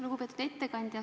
Lugupeetud ettekandja!